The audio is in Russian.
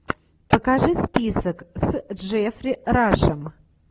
покажи список с джеффри рашем